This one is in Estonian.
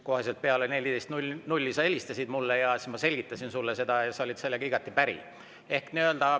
Kohe peale kella 14 sa helistasid mulle ja siis ma selgitasin sulle seda ja sa olid sellega igati päri.